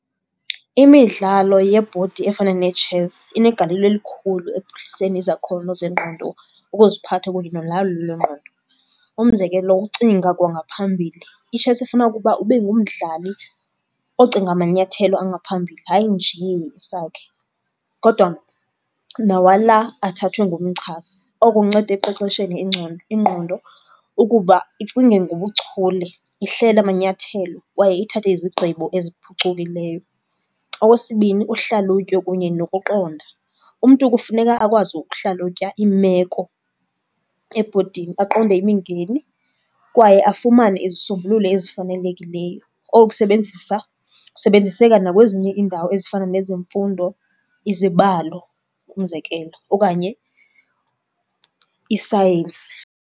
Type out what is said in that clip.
Iimidlalo yebhodi efana ne-chess inegalelo elikhulu ekuphuhliseni izakhono zengqondo, ukuziphatha kunye nolawulo lwengqondo. Umzekelo, ukucinga kwangaphambili. I-chess ifuna ukuba ube ngumdlali ocinga amanyathelo angaphambili, hayi nje isakhi kodwa nawala athathwe ngumchasi. Oku kunceda ekuqeqesheni ingqondo ukuba icinge ngobuchule, ihlele amanyathelo kwaye ithathe izigqibo eziphucukileyo. Okwesibini, uhlalutyo kunye nokuqonda. Umntu kufuneka akwazi ukuhlalutya iimeko ebhodini, aqonde imingeni kwaye afumane izisombululo ezifanelekileyo. Oku kusebenzisa, kusebenziseka nakwezinye iindawo ezifana nezemfundo, izibalo umzekelo okanye isayensi.